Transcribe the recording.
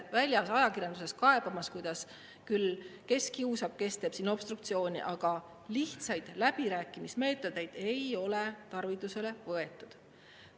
Käiakse ajakirjanduses kaebamas, kuidas küll keegi kiusab, keegi teeb obstruktsiooni, aga lihtsaid läbirääkimismeetodeid ei ole tarvitusele võetud.